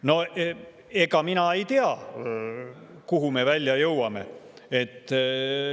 No ega mina ei tea, kuhu me välja jõuame.